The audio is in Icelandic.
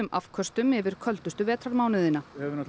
afköstum yfir köldustu vetrarmánuðina við höfum